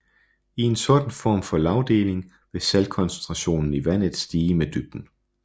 I en sådan form for lagdeling vil saltkoncentrationen i vandet stige med dybden